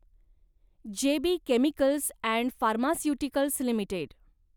जे B chemicals and pharmaceuticals limited